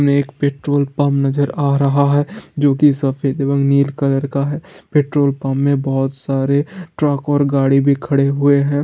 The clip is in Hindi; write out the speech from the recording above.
मे एक पेट्रोल पम्प नज़र आ रहा है जो की सफ़ेद और नील कलर का है । पेट्रोल पम्प मे बहुत सारे ट्रक और गाड़ी भी खड़े हुये है ।